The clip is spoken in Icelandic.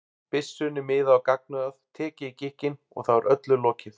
byssunni miðað á gagnaugað, tekið í gikkinn, og þá er öllu lokið.